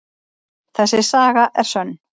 Þessi saga er sönn.